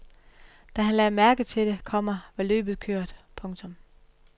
Da han lagde mærke til det, komma var løbet kørt. punktum